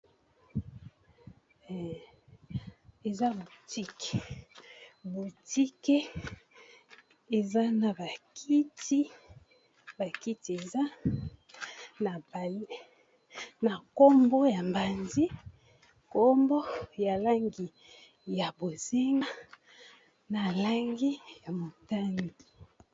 Eza boutik, boutik eza na ba kiti ba kiti eza na nkombo ya mbanzi nkombo ya langi ya bozinga na langi ya motani.